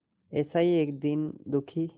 ऐसा ही एक दीन दुखी